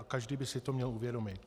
A každý by si to měl uvědomit.